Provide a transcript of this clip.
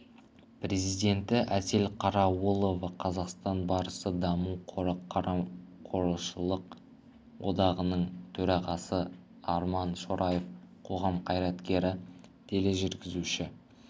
президенті әсел қарауылова қазақстан барысы даму қоры қамқоршылық одағының төрағасы арман шораев қоғам қайраткері тележүргізуші